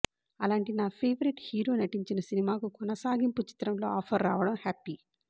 అలాంటి నా favourite hero నటించిన సినిమాకు కొనసాగింపు చిత్రంలో ఆఫర్ రావడం హ్యాపీ